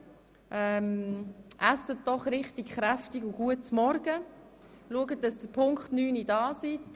Essen Sie bitte ein nahrhaftes Frühstück und erscheinen Sie pünktlich um 9.00 Uhr.